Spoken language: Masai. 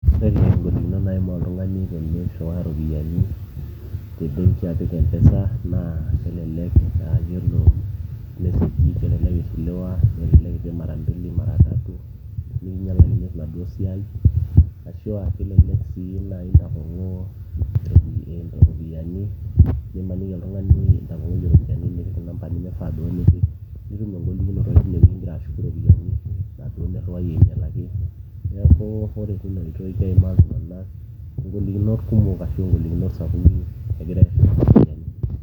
ore ingolikinot naimaa oltung'ani tenirriwaa iropiyiani tebenki apik mpesa naa kelelek aa yiolo meseji kelelek ishiliwa kelelek ipik mara mbili mara tatu nikinyialakino enaduo siai ashua kelelek sii naji intapong'oo iropiyiani nimaniki oltung'ani intapong'oyie iropiyiani nipik inamba nemifaa duo nipik nitum engolikinoto tinewueji ingira ashuku iropiyiani inaduo nirriwayie ainyialaki neeku ore tina oitoi keimaa iltung'anak ingolikinot kumok ashu ingolikinot sapuki egira airriwaa iropiyiani.